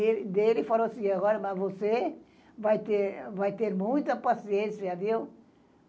Ele falou assim, agora, mas você vai ter, vai ter muita paciência, viu?